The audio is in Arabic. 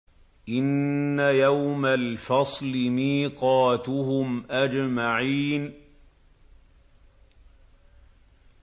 إِنَّ يَوْمَ الْفَصْلِ مِيقَاتُهُمْ أَجْمَعِينَ